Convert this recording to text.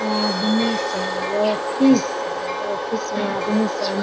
आदमी सब यह ऑफिस यह ऑफिस में आदमी सब --